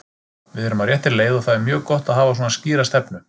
Við erum á réttri leið og það er mjög gott að hafa svona skýra stefnu.